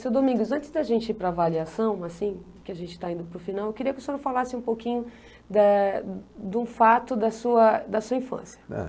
Seu Domingos, antes da gente ir para a avaliação, assim, por que a gente está indo para o final, eu queria que o senhor falasse um pouquinho da de um fato da sua da sua infância. Eh...